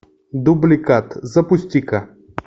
дубликат запусти ка